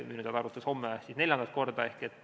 Minu teada arutatakse homme neljandat korda.